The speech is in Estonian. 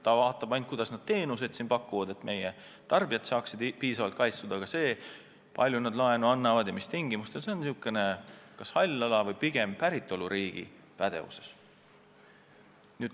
Ta vaatab ainult, kuidas nad teenuseid siin pakuvad, et meie tarbijad oleksid piisavalt kaitstud, aga see, kui palju nad laenu annavad ja mis tingimustel, on kas hall ala või pigem päritoluriigi pädevuses.